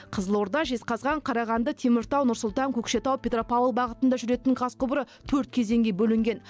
қызылорда жезқазған қарағанды теміртау нұр сұлтан көкшетау петропавл бағытында жүретін газ құбыры төрт кезеңге бөлінген